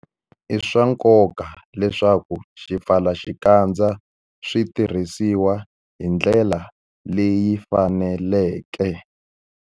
I swa nkoka leswaku swipfalaxikandza swi tirhisiwa hi ndlela leyi faneleke.